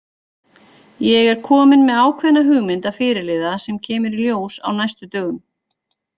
Ég er kominn með ákveðna hugmynd að fyrirliða sem kemur í ljós á næstu dögum.